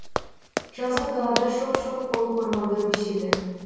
жазық далада шоқ шоқ болып ормандар өседі